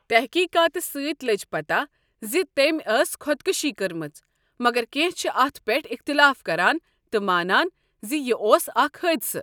تحقیقاتہٕ سٕتۍ لٔج پتہ زِ تمہِ ٲس خۄدکُشی کٔرمٕژ، مگر کٮ۪نٛہہ چھ اَتھ پٮ۪ٹھ اختلاف کران تہٕ مانان زِ یہِ اوس اکھ حٲدثہٕ۔